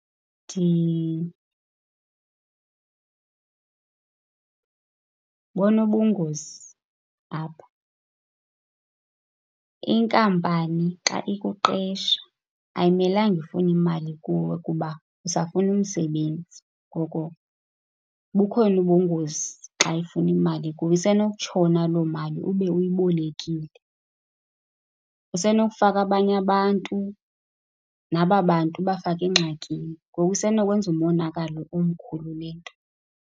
bona ubungozi apha. Inkampani xa ikuqesha ayimelanga ifune imali kuwe kuba usafuna umsebenzi, ngoko bukhona ubungozi xa ifuna imali kuwe. Isenokutshona loo mali ube uyibolekile. Usenokufaka abanye abantu, naba bantu ubafake engxakini. Ngoku isenokwenza umonakalo omkhulu le nto.